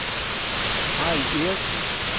Harry Eriksen